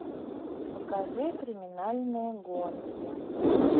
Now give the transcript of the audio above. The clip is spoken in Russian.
покажи криминальные гонки